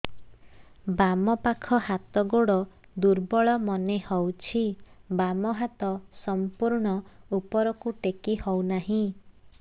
ବାମ ପାଖ ହାତ ଗୋଡ ଦୁର୍ବଳ ମନେ ହଉଛି ବାମ ହାତ ସମ୍ପୂର୍ଣ ଉପରକୁ ଟେକି ହଉ ନାହିଁ